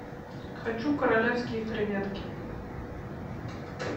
хочу королевские креветки